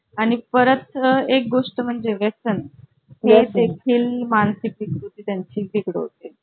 documents तर arrange झाले पन यार उद्या आपण नाही जाऊ शकणार उद्या कस कि ते गांधीबाग ला रामा कुंभारे स्थळ आहे माहिती आहे का तुला